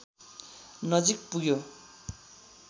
नजिक पुग्यो